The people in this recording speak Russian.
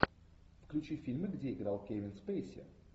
включи фильмы где играл кевин спейси